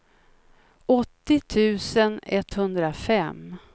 åttio tusen etthundrafem